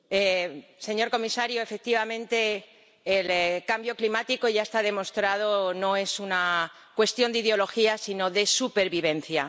Señor presidente, señor comisario, efectivamente, el cambio climático ⸻ya está demostrado⸻ no es una cuestión de ideología, sino de supervivencia.